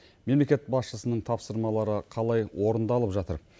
мемлекет басшысының тапсырмалары қалай орындалып жатыр